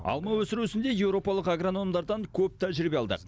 алма өсіру ісінде еуропалық агрономдардан көп тәжірибе алдық